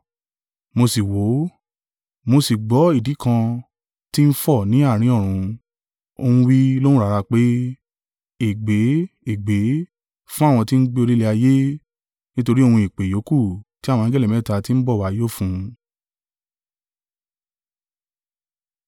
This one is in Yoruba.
Mo sì wò, mo sì gbọ́ idì kan tí ń fò ni àárín ọ̀run, ó ń wí lóhùn rara pé, “Ègbé, ègbé, fún àwọn tí ń gbé orí ilẹ̀ ayé nítorí ohun ìpè ìyókù tí àwọn angẹli mẹ́ta tí ń bọ̀ wá yóò fún!”